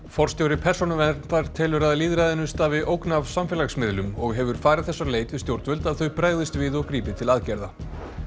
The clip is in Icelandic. forstjóri Persónuverndar telur að lýðræðinu stafi ógn af samfélagsmiðlum og hefur farið þess á leit við stjórnvöld að þau bregðist við og grípi til aðgerða